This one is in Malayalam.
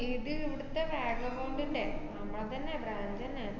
ഇത് ഇവിടിത്തെ നമ്മളെ തന്നെയാ brand ~ന്നെ.